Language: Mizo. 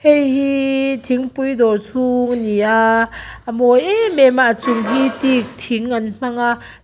heihi thingpui dawr chhung ani a a mawi em em a a chung hi teek thing an hmang a--